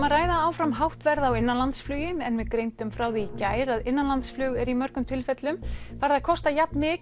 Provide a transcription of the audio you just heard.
að ræða áfram hátt verð á innanlandsflugi en við greindum frá því í gær að innanlandsflug er í mörgum tilfellum farið að kosta jafnmikið